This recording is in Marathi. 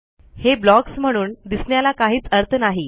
हे blocksम्हणून दिसण्याला काहीच अर्थ नाही